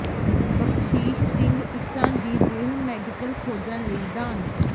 ਬਖਸ਼ੀਸ਼ ਸਿੰਘ ਇੰਸਾਂ ਦੀ ਦੇਹ ਮੈਡੀਕਲ ਖੋਜਾਂ ਲਈ ਦਾਨ